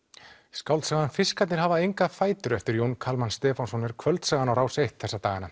skáldsagan fiskarnir hafa enga fætur eftir Jón Kalman Stefánsson er Kvöldsagan á Rás eins þessa dagana